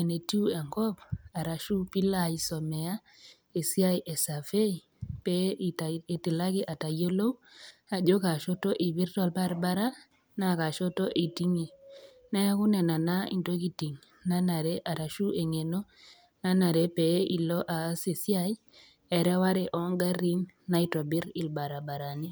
enetu enkop arashu pee ilo aisumare esiai e survey pee itilaki atayiolou ejo Kaa shoto eipirta olbaribara naa Kaa shoto eitingie, neaku nena naa intokitin naanare anaa eng'eno nanare pee ilo aas esiai ereware o ngarin naitobir ilbaribarani.